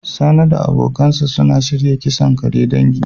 Sani da kungiyarsa suna shirya kisan kare dangi.